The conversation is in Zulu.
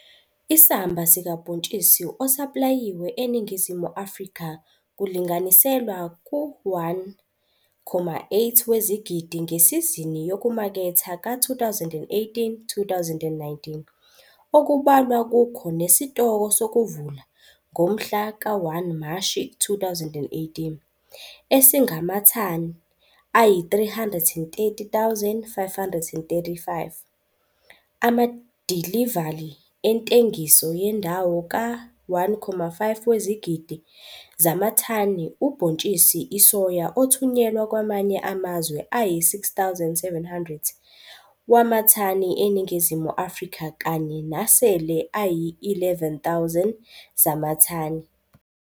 Isamba sikabhontshisi osaplayiwe eNingizimu Afrika kulinganiselwa ku-1,8 wezigidi ngesizini yokumaketha ka-2018, 2019, okubalwa kukho nesitoko sokuvula, ngomhla ka 1 Mashi 2018, esingamathani ayi-330 535, amadilivali entengiso yendawo ka-1,5 wezigidi zamathani ubhontshisi isoya othunyelwa kwamanye amazwe ayi-6 700 wamathani eNingizimu Afrika kanye nasele ayi-11 000 zamathani.